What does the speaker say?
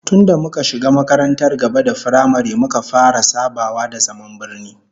Tun da muka shiga makarantar gaba da firamare muka fara sabawa da zaman birni